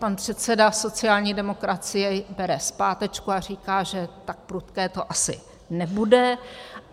Pan předseda sociální demokracie bere zpátečku a říká, že tak prudké to asi nebude.